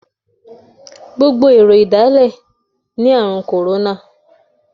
Gbogbo àwọn èrò ìdálẹ̀ ní Ààrùn kòrónà.